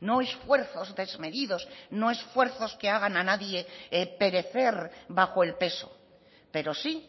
no esfuerzos desmedidos no esfuerzos que hagan a nadie perecer bajo el peso pero sí